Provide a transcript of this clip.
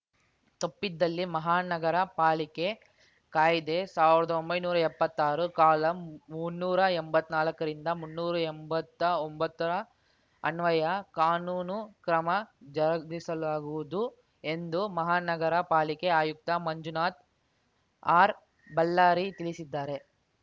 ತಪ್ಪಿದಲ್ಲಿ ಮಹಾ ನಗರ ಪಾಲಿಕೆ ಕಾಯ್ದೆ ಸಾವ್ರ್ದೊಂಬೈನೂರಾ ಎಪ್ಪತ್ತಾರು ಕಾಲಂ ಮುನ್ನೂರಾ ಎಂಬತ್ನಾಲ್ಕರಿಂದ ಮುನ್ನೂರಾ ಎಂಬತ್ತ ಒಂಬತ್ತರ ಅನ್ವಯ ಕಾನೂನು ಕ್ರಮ ಜರುಗಿಸಲಾಗುವುದು ಎಂದು ಮಹಾನಗರ ಪಾಲಿಕೆ ಆಯುಕ್ತ ಮಂಜುನಾಥ್ ಆರ್‌ಬಳ್ಳಾರಿ ತಿಳಿಸಿದ್ದಾರೆ